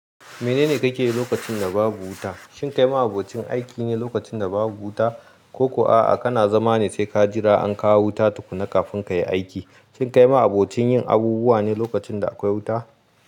Menene kake lokacin da babu wuta? Shin kai ma abokin aiki ne lokacin da babu wuta? Ko ko a kana zama ne sai ka jira an kawo wuta tukuna kafin kayi aiki. Shin kai ma abokin yin abubuwa ne lokacin da akwai wuta?